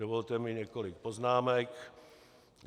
Dovolte mi několik poznámek.